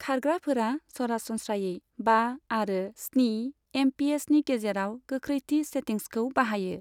खारग्राफोरा सरासनस्रायै बा आरो स्नि एमपिएचनि गेजेराव गोख्रैथि सेटिंसखौ बाहायो।